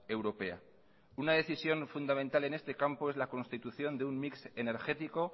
europea una decisión fundamental en este campo es la constitución de un mix energético